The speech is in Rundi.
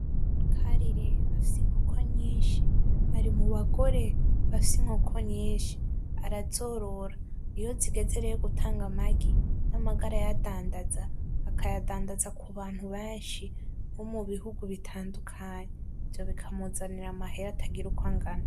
Karire afise inkoko nyinshi arimubagore bafise inkoko nyinshi arazorora iyozigeze rero gutanga amagi, amagi arayadadaza akayandadaza kubantu benshi bomubihugu bitandukanye ivyo bikamuzanira amahera atagira uko angana.